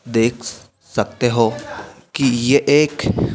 देख सकते हो कि यह एक--